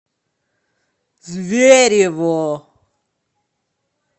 зверево